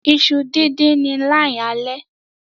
Iṣu din din Ni line ale.